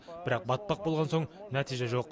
бірақ батпақ болған соң нәтиже жоқ